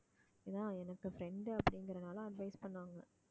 அதான் எனக்கு friend அப்படிங்கறதுனால advise பண்ணாங்க